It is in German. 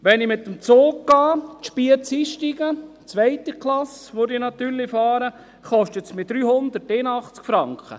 Wenn ich den Zug nehme, in Spiez einsteige, wobei ich natürlich 2. Klasse fahren würde, kostet mich das 381 Franken.